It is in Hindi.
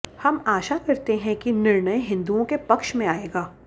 हम आशा करते हैं कि निर्णय हिन्दुओं के पक्ष में आयेगा